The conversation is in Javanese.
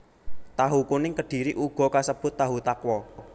Tahu kuning Kedhiri uga kasebut tahu takwa